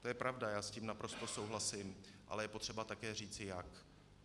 To je pravda, já s tím naprosto souhlasím, ale je třeba také říci jak.